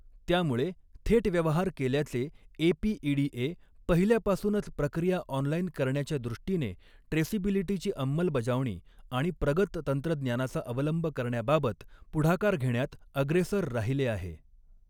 त़्यामुळे थेट व्यवहार केल्याचे एपीईडीए पहिल्यापासूनच प्रक्रिया ऑनलाइन करण्याच्या दृष्टीने, ट्रेसिबिलिटीची अंमलबजावणी आणि प्रगत तंत्रज्ञानाचा अवलंब करण्याबाबत पुढाकार घेण्यात अग्रेसर राहीले आहे.